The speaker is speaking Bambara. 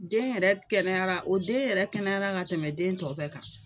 Den yɛrɛ kɛnɛyara o den yɛrɛ kɛnɛyara ka tɛmɛ den tɔ bɛɛ kan.